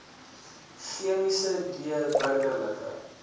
chemiese d burgerlike